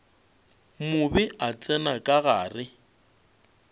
mobe a tsena ka gare